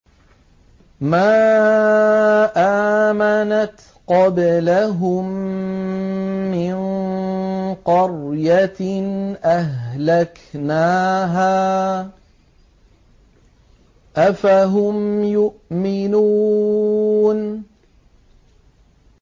مَا آمَنَتْ قَبْلَهُم مِّن قَرْيَةٍ أَهْلَكْنَاهَا ۖ أَفَهُمْ يُؤْمِنُونَ